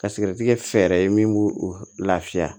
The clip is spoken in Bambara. Ka sigɛrɛti kɛ fɛɛrɛ ye min b'o o lafiya